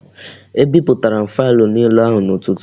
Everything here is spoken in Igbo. E biputara m faịlụ niile ahụ n'ụtụtụ